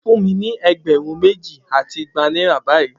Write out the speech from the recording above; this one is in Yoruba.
Fun mi ni egberun meji ati igba naira bayii!